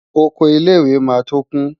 Oko ilé-ìwé máa tó kún.